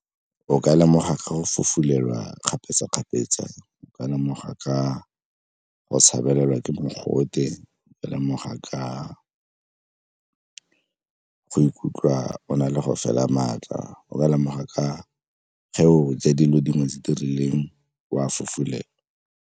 O ka lemoga ka go fufulelwa kgapetsa-kgapetsa, o ka lemoga ka go shebelelwa ke mogote, o ka lemoga ka o ikutlwa o na le go fela maatla, o ka lemoga ka ge o etsa dilo dingwe tse di rileng o a fufulelwa.